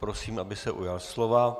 Prosím, aby se ujal slova.